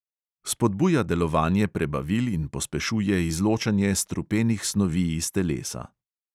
Spodbuja delovanje prebavil in pospešuje izločanje strupenih snovi iz telesa.